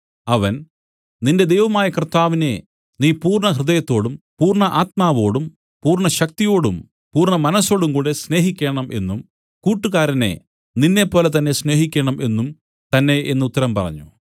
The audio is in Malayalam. അവൻ നിന്റെ ദൈവമായ കർത്താവിനെ നീ പൂർണ്ണഹൃദയത്തോടും പൂർണ്ണാത്മാവോടും പൂർണ്ണശക്തിയോടും പൂർണ്ണ മനസ്സോടുംകൂടെ സ്നേഹിക്കേണം എന്നും കൂട്ടുകാരനെ നിന്നെപ്പോലെതന്നെ സ്നേഹിക്കേണം എന്നും തന്നെ എന്നു ഉത്തരം പറഞ്ഞു